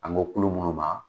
An go kulu munnu ma